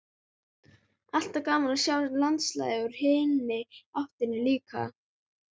Alltaf gaman að sjá landslag úr hinni áttinni líka.